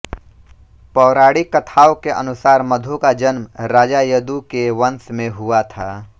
पौराणिक कथाओं के अनुसार मधु का जन्म राजा यदु के वंश में हुआ था